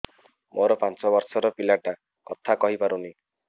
ମୋର ପାଞ୍ଚ ଵର୍ଷ ର ପିଲା ଟା କଥା କହି ପାରୁନି